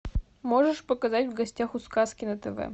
можешь показать в гостях у сказки на тв